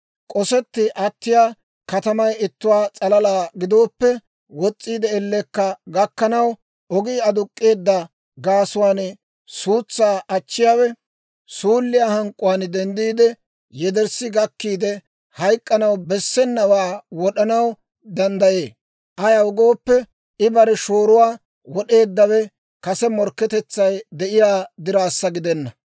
K'osetti attiyaa katamay ittuwaa s'alalaa gidooppe, wos's'iide ellekka gakkanaw ogii aduk'k'eedda gaasuwaan suutsaa achchiyaawe suulliyaa hank'k'uwaan denddiide, yederssi gakkiide, hayk'k'anaw bessenawaa wod'anaw danddayee; ayaw gooppe, I bare shooruwaa wod'eeddawe kase morkketetsay de'iyaa diraassa gidenna.